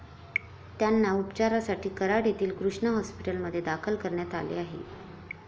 त्यांना उपचारासाठी कराड येथील कृष्णा हॉस्पिटलमध्ये दाखल करण्यात आले आहे.